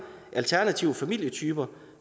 og alternative familietyper